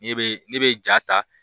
Ne bɛ ne bɛ ja ta.